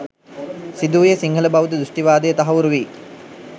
සිදු වූයේ සිංහල බෞද්ධ දෘෂ්ඨිවාදය තහවුරු වී